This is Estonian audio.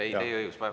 Teil on see õigus.